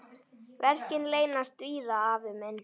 Verkin leynast víða, afi minn.